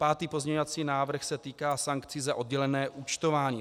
Pátý pozměňovací návrh se týká sankcí za oddělené účtování.